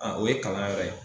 Aaa o ye kalanyɔrɔ ye